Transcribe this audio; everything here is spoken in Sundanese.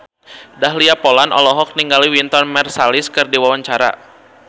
Dahlia Poland olohok ningali Wynton Marsalis keur diwawancara